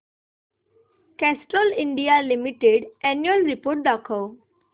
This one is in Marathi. Castrol India limited annual report दाखव